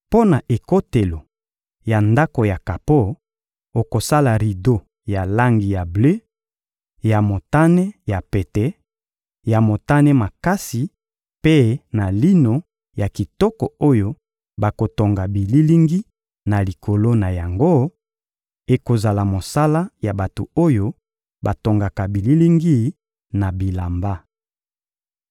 Mpo na ekotelo ya Ndako ya kapo, okosala rido ya langi ya ble, ya motane ya pete, ya motane makasi mpe na lino ya kitoko oyo bakotonga bililingi na likolo na yango; ekozala mosala ya bato oyo batongaka bililingi na bilamba.